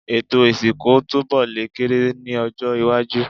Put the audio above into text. Ètò ìsìnkú túnbọ̀ lè kéré si ní ọjọ́-iwájú.